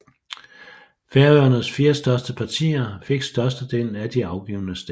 Færøernes fire største partier fik størstedelen af de afgivne stemmer